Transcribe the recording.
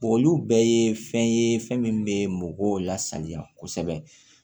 olu bɛɛ ye fɛn ye fɛn min bɛ mɔgɔw lasaniya kosɛbɛ